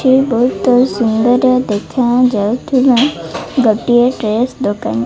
ଏହା ବହୁତ ସୁନ୍ଦର ଦେଖାଯାଉଥିବା ଗୋଟିଏ ଡ୍ରେସ ଦୋକାନ --